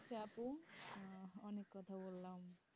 হ্যাঁ অনেক কথা বলাম